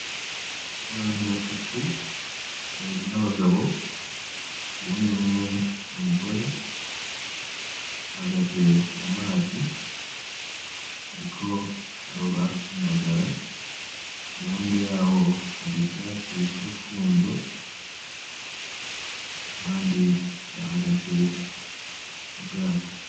Abantu batatu, babiri n'abagabo, uyundi umwe n'umugore, bahagaze mu mazi, bariko baroba indagara. Iruhande yaho hariho ivyatsi bita urumfunzo, abandi bahagaze mu bwato.